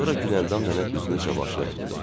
Sonra Güləndam nənə üzünü Cavanşirə tutdu.